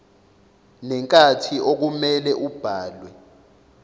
nenkathi okumele ubhalwe